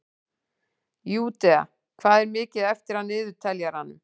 Júdea, hvað er mikið eftir af niðurteljaranum?